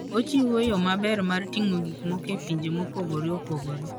Ochiwo yo maber mar ting'o gik moko e pinje mopogore opogore.